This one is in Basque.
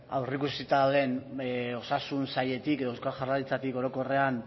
aurreikusita dauden osasun sailetik edo eusko jaurlaritzatik orokorrean